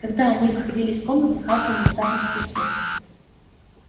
когда они выходили из комнаты хардин внезапно спросил